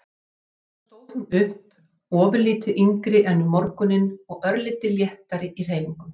Síðan stóð hún upp, ofurlítið yngri en um morguninn og örlítið léttari í hreyfingum.